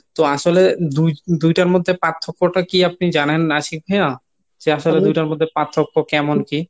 তো আসলে দুই - দুইটার মধ্যে পার্থক্যটা কী আপনি জানেন আশিক ভাইয়া? যে আসলে দুইটার মধ্যে পার্থক্য কেমন কী?